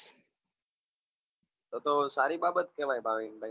તો તો સારી બાબત કેવાય ભાવિન ભાઈ